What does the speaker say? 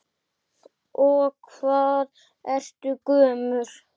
Og hvað ertu gömul?